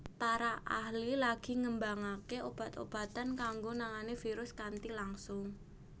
Para ahli lagi ngembangake obat obatan kanggo nangani virus kanthi langsung